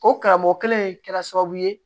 O karamɔgɔ kelen in kɛra sababu ye